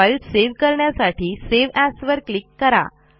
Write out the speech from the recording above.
file save करण्यासाठी save as वर click करा